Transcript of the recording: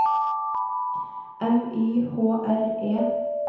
M Y H R E